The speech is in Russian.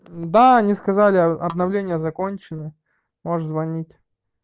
да они сказали обновления закончены можешь звонить